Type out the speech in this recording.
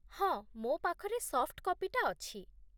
ହଁ, ମୋ ପାଖରେ ସଫ୍ଟ କପିଟା ଅଛି ।